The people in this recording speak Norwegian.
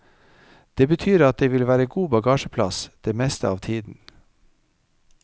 Det betyr at det vil være god bagasjeplass det meste av tiden.